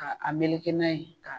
Ka a meleke n'a ye .